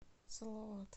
салават